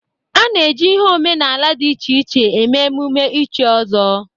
Ana eji ihe omenaala dị iche iche eme emume ichi ọzọ.